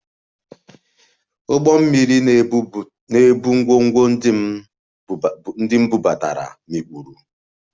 Ụgbọ mmiri na-ebu ngwongwo ndị m bubata, mikpuru